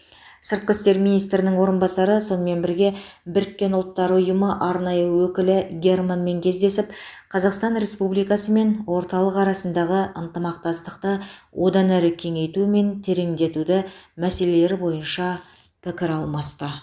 сыртқы істер министрінің орынбасары сонымен бірге біріккен ұлттар ұйымы арнайы өкілі германмен кездесіп қазақстан республикасы мен орталық арасындағы ынтымақтастықты одан әрі кеңейту мен тереңдетуді мәселелері бойынша пікір алмасты